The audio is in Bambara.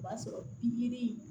O b'a sɔrɔ yiri